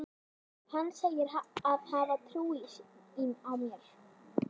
Hann segir að hann hafi trú á mér.